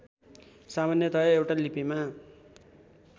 सामान्यतया एउटा लिपिमा